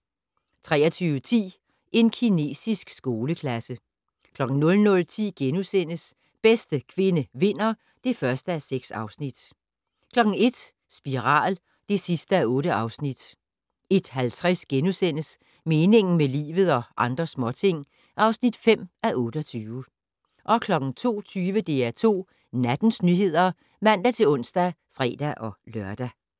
23:10: En kinesisk skoleklasse 00:10: Bedste kvinde vinder (1:6)* 01:00: Spiral (8:8) 01:50: Meningen med livet - og andre småting (5:28)* 02:20: DR2 Nattens nyheder (man-ons og fre-lør)